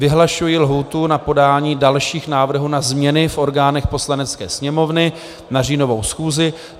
Vyhlašuji lhůtu na podání dalších návrhů na změny v orgánech Poslanecké sněmovny na říjnovou schůzi.